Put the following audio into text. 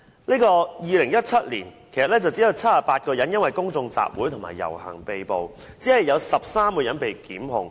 在2017年，有78個人因公眾集會及遊行而被捕，只有13人被檢控。